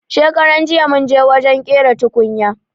Shakaranjiya munje wajen ƙera tukunya